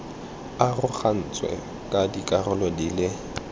arogantswe ka dikarolo di le